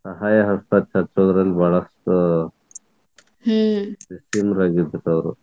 ಸಹಾಯ ಹಸ್ತ ಚಾಚುವುದರಲ್ಲಿ ಬಹಳಷ್ಟು ಕ್ಕ್ ನಿಸ್ಸಿಮರಾಗಿದ್ರು ಅವರು.